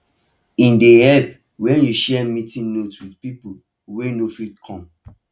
e dey help when you share meeting notes with people wey no fit come